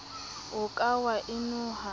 o ka wa e noha